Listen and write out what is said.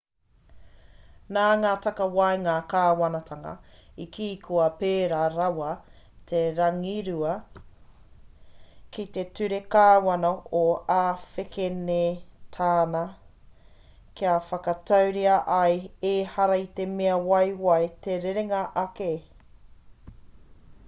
nā ngā takawaenga kāwanatanga i kī kua pērā rawa te rangirua ki te ture kāwana o āwhekenetāna kia whakatauria ai ehara i te mea waiwai te rerenga ake